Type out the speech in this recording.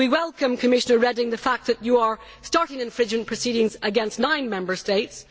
And we welcome, Commissioner Reding, the fact that you are starting infringement proceedings against nine Member States.